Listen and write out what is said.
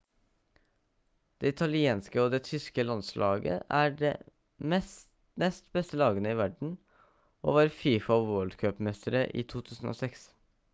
det italienske og det tyske landslaget er de nest beste lagene i verden og var fifa world cup-mestere i 2006